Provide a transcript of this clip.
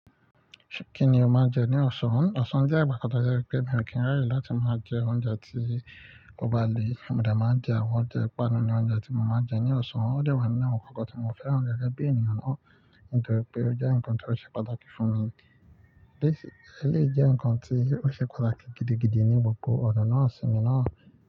Kí ni o máa ń jẹ ní Ọ̀ṣan? Ọ̀ṣan jẹ́ ìgbà kan tó jẹ́ pé mi ò kí n raye láti máa jẹ oúnjẹ tí ó bà le. Òdò máa ń jẹ àwọn ọjẹ, panu ni oúnjẹ tí mo máa ń jẹ ní Ọ̀ṣan. Ó dẹ́ wá ní àwọn ǹkan kan tí mo fẹ́ràn gẹ́gẹ́ bí ènìyàn náà, nítorí pé ó jẹ́ ǹkan tí ó ṣe pàtàkì fún mi. Basically eleyi jẹ́ ǹkan tí ó ṣe pàtàkì gidigidi ní gbogbo ọ̀nà sinmi náà.